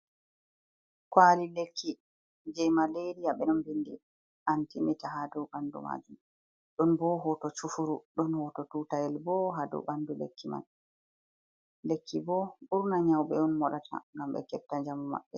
Kwaali lekki je maleriya, ɓe don ɓindi antimita ha dow ɓandu maajum, ɗon bo hooto chufuru, ɗon hooto tuutayel bo ha dow ɓandu lekki mai. Lekki bo ɓurna nyawɓe on moɗata ngam ɓe kefta djamu maɓɓe.